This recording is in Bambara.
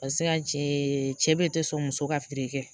Paseke ka cɛ be tɛ sɔn muso ka feere kɛ